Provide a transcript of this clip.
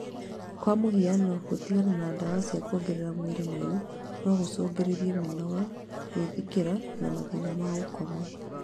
kwa mũhiano, gũtigana na ndawa cia kuongerera mwĩrĩ mayũ no gũcũngĩrĩrie mĩnoga, gwĩthikĩra na mathĩna ma gũkoma